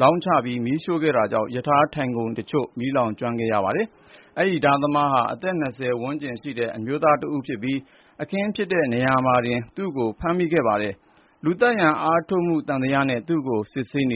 လောင်းချပြီး မီးရှို့ခဲ့တာကြောင့် ရထားထိုင်ခုံတချို့ မီးလောင်ကျွမ်းခဲ့ပါတယ်။ အဲဒီဓားသမားဟာ အသက် ၂၀ ဝန်းကျင်ရှိသူ အမျိုးသားတဦးဖြစ်ပြီး အခင်းဖြစ်တဲ့နေရာမှာတင် သူ့ကို ဖမ်းမိခဲ့တာပါ။ လူသတ်ရန်အားထုတ်မှု သံသယနဲ့ သူ့ကို စစ်မေးနေ